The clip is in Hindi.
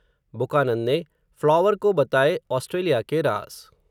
बुकानन ने, फ़्लॉवर को बताए, ऑस्ट्रेलिया के राज़